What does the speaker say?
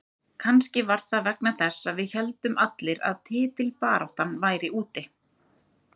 Kannski var það vegna þess að við héldum allir að titilbaráttan væri úti.